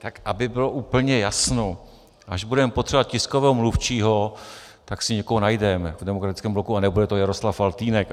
Tak aby bylo úplně jasno - až budeme potřebovat tiskového mluvčího, tak si někoho najdeme v Demokratickém bloku a nebude to Jaroslav Faltýnek.